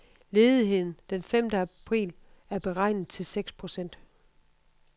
Ledigheden den femte april er beregnet til seks procent.